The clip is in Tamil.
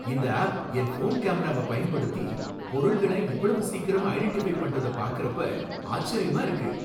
இந்த ஆப் என் ஃபோன் கேமராவை பயன்படுத்தி பொருள்கள இவ்வளவு சீக்கிரம் ஐடென்டிஃபை பண்றத பாக்கறப்ப ஆச்சரியமா இருக்கு!